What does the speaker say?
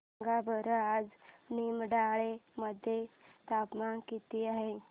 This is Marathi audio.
सांगा बरं आज निमडाळे मध्ये तापमान किती आहे